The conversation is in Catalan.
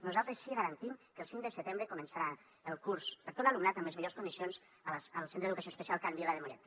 nosaltres sí que garantim que el cinc de setembre començarà el curs per a tot l’alumnat amb les millors condicions al centre d’educació especial can vila de mollet